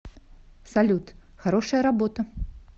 салют хорошая работа